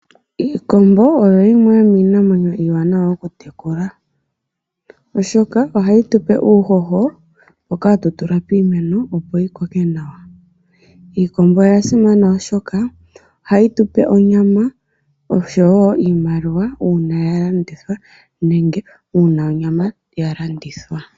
Iikombo oyo yimwe yomiinamwenyo iiwanawa oku tekula, oshoka ohayi tu pe uuhoho mboka hatu tula piimeno opo yi koke nawa. Iikombo oya simana, oshoka ohayi tu pe onyama oshowo iimaliwa uuna ya landithwa nenge uuna onyama ya landitthwa.